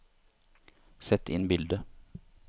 sett inn bilde